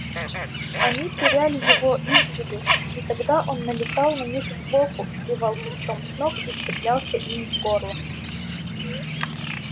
они теряли его из виду и тогда он налетал на них сбоку сбивал плечом с ног и вцеплялся им в горло